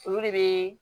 Olu de bɛ